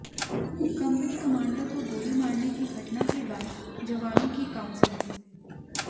company commander को गोली मारने की घटना के बाद जवानों की काउंसिलिंग